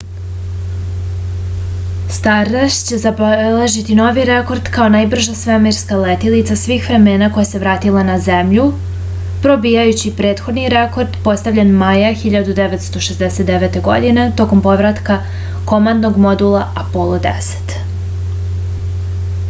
stardast će zabeležiti novi rekord kao najbrža svemirska letilica svih vremena koja se vratila na zemlju probijajući prethodni rekord postavljen maja 1969. godine tokom povratka komandnog modula apolo x